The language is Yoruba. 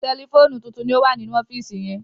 Tẹlifóònù títún ní owa nínú ọfiisi yén